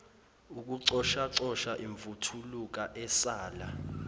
ukucoshacosha imvuthuluka esala